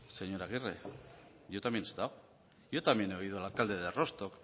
señora agirre yo también he estado yo también he oído al alcalde de rostock